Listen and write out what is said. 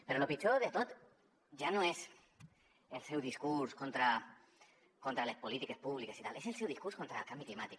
però lo pitjor de tot ja no és el seu discurs contra les polítiques públiques i tal és el seu discurs contra el canvi climàtic